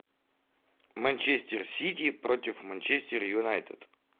манчестер сити против манчестер юнайтед